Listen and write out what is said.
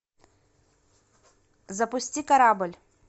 запусти корабль